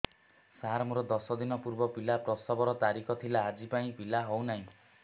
ସାର ମୋର ଦଶ ଦିନ ପୂର୍ବ ପିଲା ପ୍ରସଵ ର ତାରିଖ ଥିଲା ଆଜି ଯାଇଁ ପିଲା ହଉ ନାହିଁ